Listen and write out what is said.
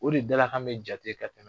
O de dalakan bɛ jate ka tɛmɛ